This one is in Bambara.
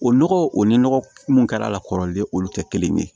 O nɔgɔ o ni nɔgɔ munnu kɛra a la kɔrɔlen olu tɛ kelen ye